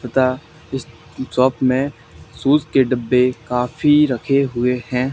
तथा इस शॉप में शूज के डब्बे काफी रखे हुए हैं।